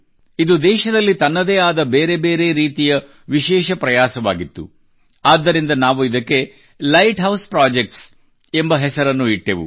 ಇದು ದೇಶದಲ್ಲಿ ತನ್ನದೇ ಆದ ಬೇರೆ ಬೇರೆ ರೀತಿಯ ವಿಶೇಷ ಪ್ರಯಾಸವಾಗಿತ್ತು ಆದ್ದರಿಂದ ನಾವು ಇದಕ್ಕೆ ಲೈಟ್ ಹೌಸ್ ಪ್ರೊಜೆಕ್ಟ್ಸ್ ಎಂಬ ಹೆಸರನ್ನು ಇಟ್ಟೆವು